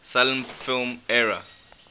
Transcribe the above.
silent film era